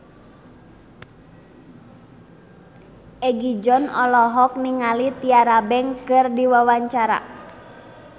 Egi John olohok ningali Tyra Banks keur diwawancara